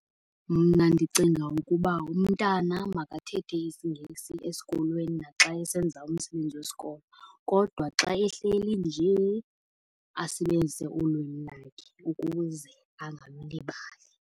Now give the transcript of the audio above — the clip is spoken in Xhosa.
Mna ndicinga ukuba umntana makathethe isiNgesi esikolweni naxa esenza umsebenzi wesikolo, kodwa xa ehleli nje asebenzise ulwimi lakhe ukuze angalilibali.